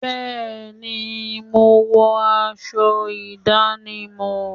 Bẹ́ẹ̀ni, mo wọ aṣọ ìdánimọ̀